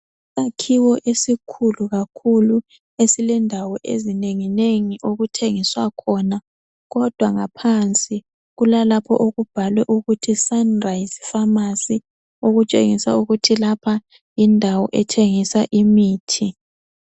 Isakhiwo esikhulu kakhulu esilendawo ezinengi nengi okuthengiswa khona kodwa ngaphansi kulalapha okubhalwe ukuthi Sunrise Pharmacy okutshengisa ukuthi lapha yindawo ethengisa imithi.